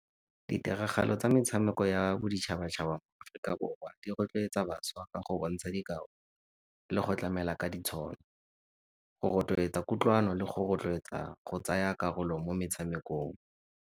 Ditiragalo tsa metshameko ya boditšhaba-tšhaba di rotloetsa bašwa ka go bontsha dikao le go tlamela ka ditshono. Go rotloetsa kutlwano le go rotloetsa go tsaya karolo mo motshamekong.